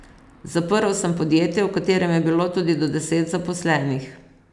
Zaprl sem podjetje, v katerem je bilo tudi do deset zaposlenih.